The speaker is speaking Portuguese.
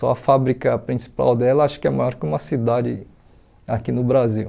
Só a fábrica principal dela acho que é maior que uma cidade aqui no Brasil.